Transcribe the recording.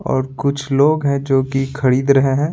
और कुछ लोग हैं जो कि खरीद रहे हैं।